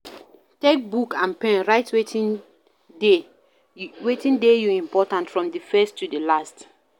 Take book and pen write wetin dey you important from di first to di last